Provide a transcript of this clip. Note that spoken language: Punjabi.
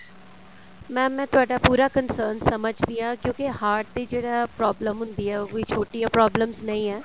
mam ਮੈਂ ਤੁਹਾਡਾ ਪੂਰਾ concern ਸਮਝਦੀ ਆਂ ਕਿਉਂਕਿ heart ਦੀ ਜਿਹੜਾ problem ਹੁੰਦੀ ਏ ਉਹ ਕੋਈ ਛੋਟੀਆਂ problems ਨਹੀਂ ਆ